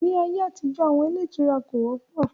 Ní ayé àtijọ́, àwọn ilé ìtura kò wọ́pọ̀